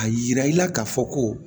A yira i la ka fɔ ko